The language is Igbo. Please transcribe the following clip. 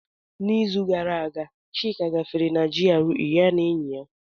N'izu gara aga, Chika gafere na GRA ya na enyi ya.